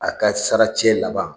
A ka sara cɛ laban